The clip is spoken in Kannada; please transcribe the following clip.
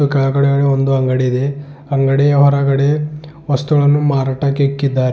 ಕೆಳಗಡೆ ಒಂದು ಅಂಗಡಿ ಇದೆ ಅಂಗಡಿ ಹೊರಗಡೆ ವಸ್ತುಗಳನ್ನು ಮಾರಾಟಕ್ಕೆ ಇಕ್ಕಿದ್ದಾರೆ.